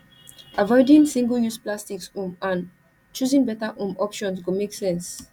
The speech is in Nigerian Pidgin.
avoiding singleuse plastics um and choosing better um options go make sense